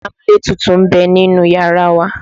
Amúlétutù ń bẹ nínú yàrá wa.